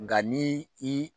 Nka ni i